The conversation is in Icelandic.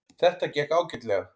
Þetta gekk ágætlega